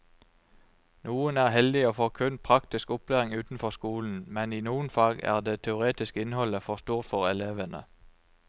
Noen er heldige og får kun praktisk opplæring utenfor skolen, men i noen fag er det teoretiske innholdet for stort for elevene.